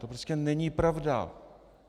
To prostě není pravda.